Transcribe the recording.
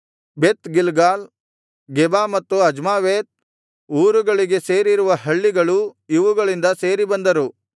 ಬೆತ್ Gilgal Geba ಮತ್ತು Azmaveth ಊರುಗಳಿಗೆ ಸೇರಿರುವ ಹಳ್ಳಿಗಳು ಇವುಗಳಿಂದ ಸೇರಿ ಬಂದರು